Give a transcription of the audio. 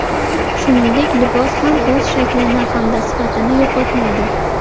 Shuningdek, libos ham o‘z shaklini hamda sifatini yo‘qotmaydi.